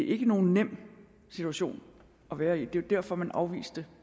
ikke nogen nem situation at være i det var derfor man afviste